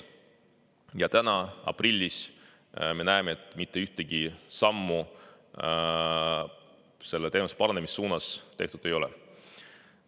Ja täna, aprillis, me näeme, et mitte ühtegi sammu selle teenuse paranemise suunas tehtud ei ole.